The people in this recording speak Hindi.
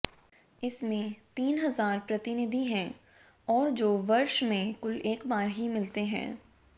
इसमें तीन हज़ार प्रतिनिधि हैं और जो वर्ष में कुल एक बार ही मिलते हैं